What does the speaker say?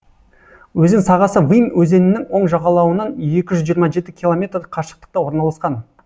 өзен сағасы вымь өзенінің оң жағалауынан екі жүз жиырма жеті километр қашықтықта орналасқан